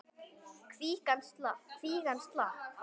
Kvígan slapp.